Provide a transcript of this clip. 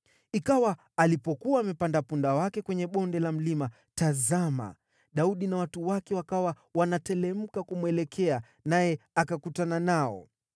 Ikawa alipokuwa amepanda punda wake kwenye bonde la mlima, tazama, Daudi na watu wake wakawa wanateremka kumwelekea, naye akakutana nao.